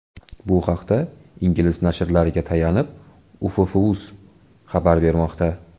Bu haqda ingliz nashrlariga tayanib, Uff.uz xabar bermoqda .